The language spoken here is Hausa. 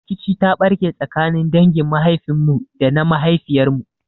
Rikici ta ɓarke tsakanin dangin mahaifin mu da na mahaifiyar mu.